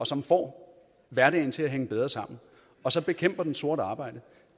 som får hverdagen til at hænge bedre sammen og så bekæmper den sort arbejde